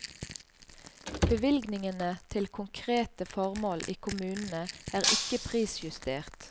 Bevilgningene til konkrete formål i kommunene er ikke prisjustert.